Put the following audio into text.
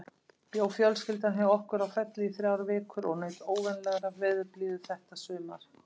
Bjó fjölskyldan hjá okkur á Felli í þrjár vikur og naut óvenjulegrar veðurblíðu þetta sumar.